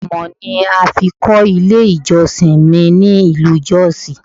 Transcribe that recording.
Amọ̀ ni a fi kọ́ ilé ìjọsìn mi ní ìlú jọ́ọ̀sì.